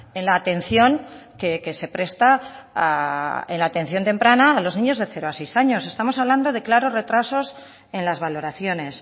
en la atención que se presta a en la atención temprana a los niños de cero a seis años estamos hablando de claro retrasos en las valoraciones